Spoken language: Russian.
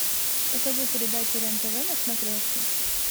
покажи передачу рен тв на смотрешке